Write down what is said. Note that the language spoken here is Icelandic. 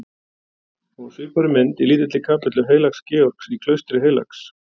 Og á svipaðri mynd í lítilli kapellu heilags Georgs í klaustri heilags